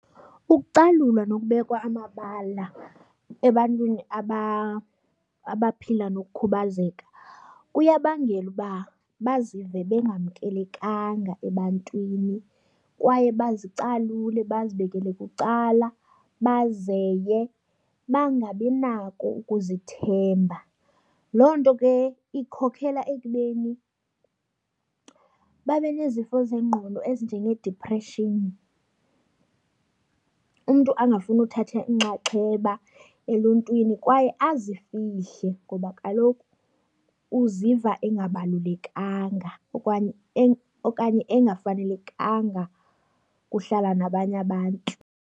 Ukucalulwa nokubekwa amabala ebantwini abaphila nokukhubazeka kuyabangela uba bazive bengamkelekanga ebantwini kwaye bazicalule bazibekele bucala, bazeye bangabinako ukuzithemba. Loo nto ke ikhokhela ekubeni babe nezifo zengqondo ezinjengeedipreshini, umntu angafuni ukuthatha inxaxheba eluntwini kwaye azifihle ngoba kaloku uziva engabalulekanga okanye engafanelekanga kuhlala nabanye abantu.